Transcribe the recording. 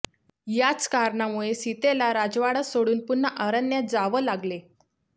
याचं कारणामुळे सीतेला राजवाडा सोडून पुन्हा अरण्यात जावं लागले